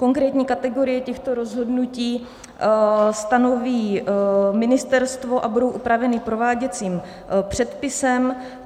Konkrétní kategorie těchto rozhodnutí stanoví ministerstvo a budou upraveny prováděcím předpisem.